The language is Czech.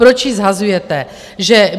Proč ji shazujete?